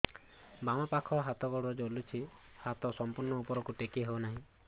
ବାମପାଖ ହାତ ଗୋଡ଼ ଜଳୁଛି ହାତ ସଂପୂର୍ଣ୍ଣ ଉପରକୁ ଟେକି ହେଉନାହିଁ